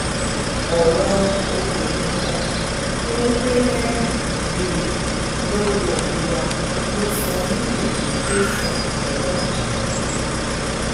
ọ̀rọ̀ obìnrin kan tó ń gbé lẹ́yìn ilé lọ́dọọdù wa ló sọ mí dèrò tẹ̀sán ọlọ́pàá